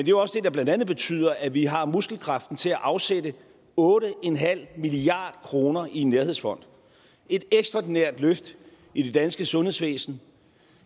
jo også det der blandt andet betyder at vi har muskelkraften til at afsætte otte milliard kroner i en nærhedsfond et ekstraordinært løft i det danske sundhedsvæsen